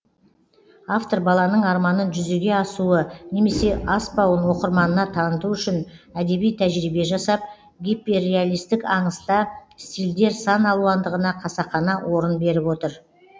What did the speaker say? автор баланың арманын жүзеге асуы немесе аспауын оқырманына таныту үшін әдеби тәжірибе жасап гиперреалистік аңыста стильдер сан алуандығына қасақана орын беріп отыр